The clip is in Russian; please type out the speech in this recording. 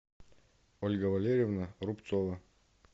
ольга валерьевна рубцова